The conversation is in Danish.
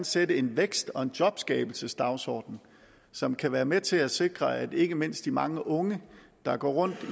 sætte en vækst og jobskabelsesdagsorden som kan være med til at sikre at ikke mindst de mange unge der går rundt